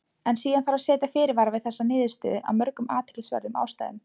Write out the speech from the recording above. En síðan þarf að setja fyrirvara við þessa niðurstöðu af mörgum athyglisverðum ástæðum.